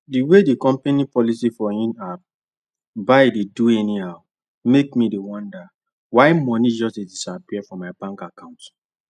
the way the company policy for inapp buy dey do anyhow make me dey wonder why money just disappear from my bank account